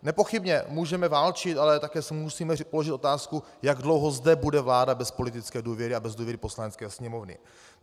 Nepochybně můžete válčit, ale také si musíme položit otázku, jak dlouho zde bude vláda bez politické důvěry a bez důvěry Poslanecké sněmovny.